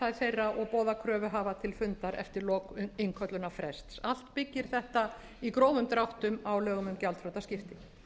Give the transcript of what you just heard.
þeirra og boða kröfuhafa til fundar eftir innköllunarfrest allt byggir þetta í grófum dráttum á lögum um gjaldþrotaskipti